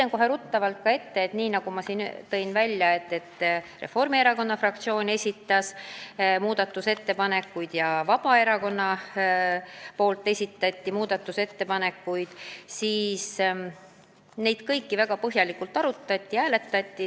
Nagu ma juba ütlesin, Reformierakonna fraktsioon ja Vabaerakonna fraktsioon esitasid muudatusettepanekuid ja neid kõiki arutati enne hääletamist väga põhjalikult.